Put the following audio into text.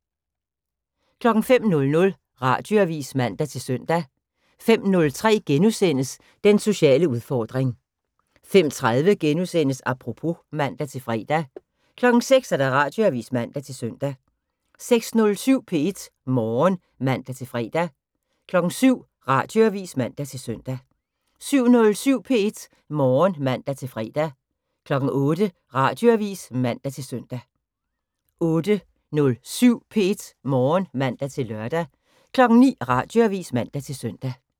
05:00: Radioavis (man-søn) 05:03: Den sociale udfordring * 05:30: Apropos *(man-fre) 06:00: Radioavis (man-søn) 06:07: P1 Morgen (man-fre) 07:00: Radioavis (man-søn) 07:07: P1 Morgen (man-fre) 08:00: Radioavis (man-søn) 08:07: P1 Morgen (man-lør) 09:00: Radioavis (man-søn)